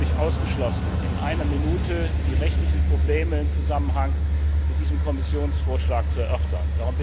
Es ist völlig ausgeschlossen, in einer Minute die rechtlichen Probleme im Zusammenhang mit diesem Kommissionsvorschlag zu erörtern.